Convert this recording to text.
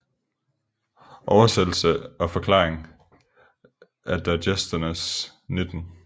Oversættelse og Forklaring af Digesternes 19